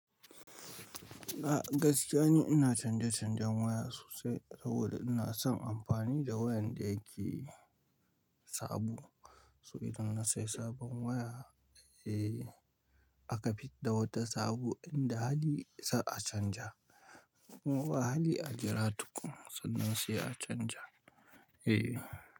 A gaskiya ne ina canje-canjen waya sosai saboda ina son amfani da wayan da yake sabo. So idan na sayi sabon waya, aka fid da wata sabo in da hali za a canja. Ko ba hali a jira tukuna sannan sai s canja.